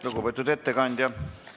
Lugupeetud ettekandja!